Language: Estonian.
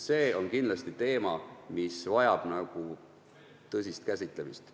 See on kindlasti teema, mis vajab tõsist käsitlemist.